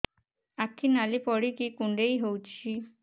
ଆଖି ନାଲି ପଡିକି କୁଣ୍ଡେଇ ହଉଛି